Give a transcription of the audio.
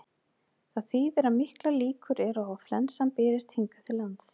Það þýðir að miklar líkur eru á að flensan berist hingað til lands.